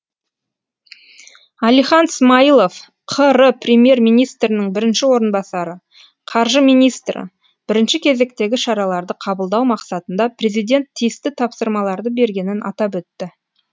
әлихан смайылов қр премьер министрінің бірінші орынбасары қаржы министрі бірінші кезектегі шараларды қабылдау мақсатында президент тиісті тапсырмаларды бергенін атап өтті